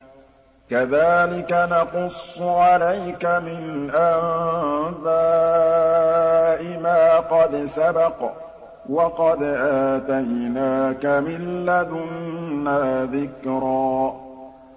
كَذَٰلِكَ نَقُصُّ عَلَيْكَ مِنْ أَنبَاءِ مَا قَدْ سَبَقَ ۚ وَقَدْ آتَيْنَاكَ مِن لَّدُنَّا ذِكْرًا